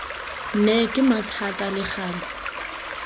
nne kima thata le gale